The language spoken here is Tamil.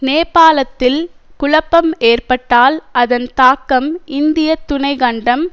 நேபாளத்தில் குழப்பம் ஏற்பட்டால் அதன் தாக்கம் இந்திய துணை கண்டம்